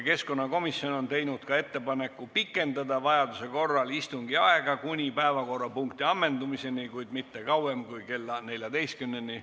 Keskkonnakomisjon on teinud ettepaneku pikendada vajaduse korral istungiaega kuni päevakorrapunkti ammendumiseni, kuid mitte kauem kui kell 14-ni.